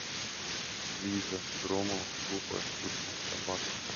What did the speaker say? лиза громова глупая скучная собака